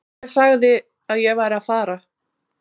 Hver sagði að ég væri að fara?